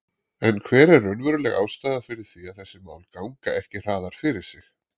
En hver er raunveruleg ástæða fyrir því að þessi mál ganga ekki hraðar fyrir sig?